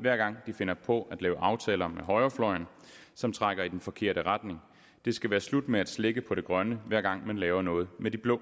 hver gang de finder på at lave aftaler med højrefløjen som trækker i den forkerte retning det skal være slut med at slække på det grønne hver gang man laver noget med de blå